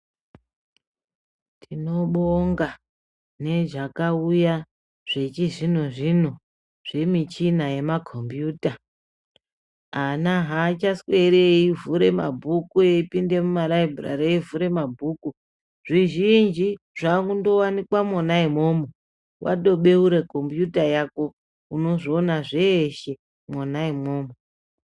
Tinobonga nezvakauya zvechizvino zviro zvemichina yemakombiyuta . Ana hachasweri eivhure mabhuku eipinde mumabhurari eivhure mabhuku, zvizhinji zvakundowanikwa mona imomo. Watobeure kombiyuta yako unozviona zveshe mwona imwomo.